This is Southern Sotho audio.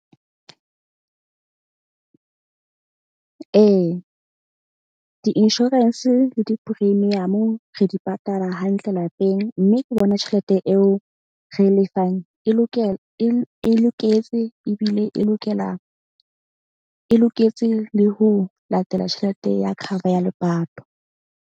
Ee, di-insurance le di-premium-o re di patala hantle lapeng. Mme ke bona tjhelete eo re e lefang e , e loketse ebile e lokela. E loketse le ho latela tjhelete ya cover ya lepato.